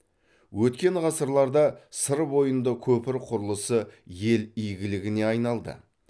өткен ғасырларда сыр бойында көпір құрылысы ел игілігіне айналды